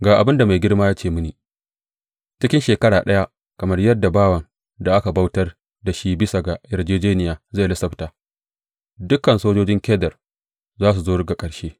Ga abin da mai girma ya ce mini, Cikin shekara ɗaya, kamar yadda bawan da aka bautar da shi bisa ga yarjejjeniya zai lissafta, dukan sojojin Kedar za su zo ga ƙarshe.